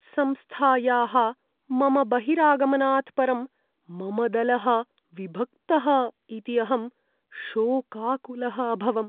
संस्थायाः मम बहिरागमनात् परं मम दलः विभक्तः इति अहं शोकाकुलः अभवम्।